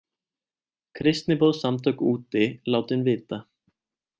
Kristniboðssamtök úti látin vita